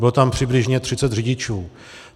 Bylo tam přibližně 30 řidičů.